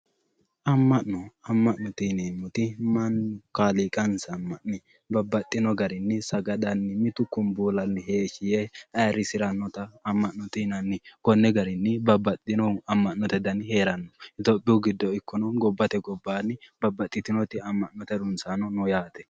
Ama'no, ama'note yineemmoti mannu kaaliiqansa ama'ne babbaxino garinni mitu kunbullanni heeshshi yee ayirrisiranotta ama'note yinnanni konni garinni babbaxinohu ama'note dani hee'rano gobbate giddonni ikko gobbate gobbanni babbaxitino ama'note harunsanno no yaate.